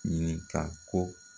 Ɲini ka ko